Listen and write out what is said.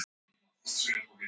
Hún er ákveðin.